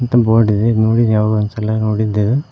ಮತ್ತು ಬೋರ್ಡ್ ಇದೆ ನೋಡಿನಿ ಯಾವಾಗೋ ಒಂದ್ಸಲ ನೋಡಿದ್ದೇವೆ.